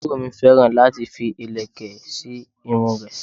Aburo mi féràn láti fi ìlẹ̀kẹ̀ sí irun rẹ̀